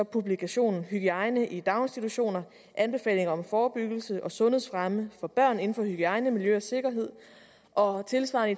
publikationen hygiejne i daginstitutioner anbefalinger om forebyggelse og sundhedsfremme for børn inden for hygiejne miljø og sikkerhed og tilsvarende